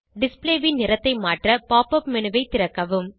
display ன் நிறத்தை மாற்ற pop up மேனு ஐ திறக்கவும்